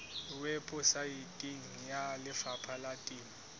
weposaeteng ya lefapha la temo